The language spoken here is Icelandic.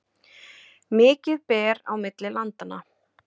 Mikið ber á milli landanna